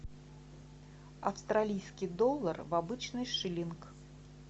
австралийский доллар в обычный шиллинг